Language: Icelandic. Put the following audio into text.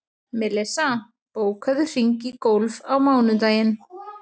Melissa, bókaðu hring í golf á mánudaginn.